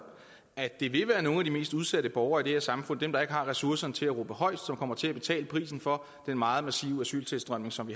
at det vil være nogle af de mest udsatte borgere i det her samfund dem der ikke har ressourcerne til at råbe højest som kommer til at betale prisen for den meget massive asyltilstrømning som